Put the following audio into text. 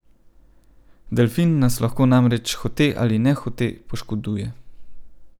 Delfin nas lahko namreč hote ali nehote poškoduje.